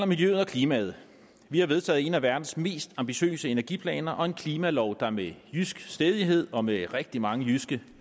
miljøet og klimaet vi har vedtaget en af verdens mest ambitiøse energiplaner og en klimalov der med jysk stædighed og med rigtig mange jyske